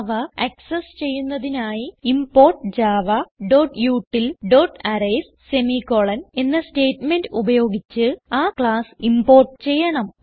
അവ ആക്സസ് ചെയ്യുന്നതിനായി ഇംപോർട്ട് javautilഅറേയ്സ് സെമിക്കോളൻ എന്ന സ്റ്റേറ്റ്മെന്റ് ഉപയോഗിച്ച് ആ ക്ലാസ് ഇംപോർട്ട് ചെയ്യണം